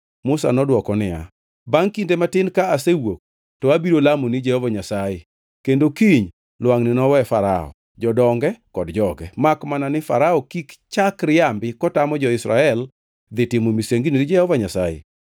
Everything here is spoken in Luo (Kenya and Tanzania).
Musa nodwoko niya, “Bangʼ kinde matin ka asewuok, to abiro lamoni Jehova Nyasaye, kendo kiny lwangʼni nowe Farao, jodonge kod joge. Makmana ni Farao kik chak riambi kotamo jo-Israel dhi timo misengini ni Jehova Nyasaye.”